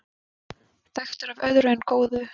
Þekktur af öðru en góðu